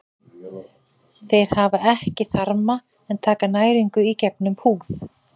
Þeir hafa ekki þarma en taka næringu í gegnum húð.